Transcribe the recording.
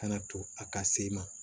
Kana to a ka se ma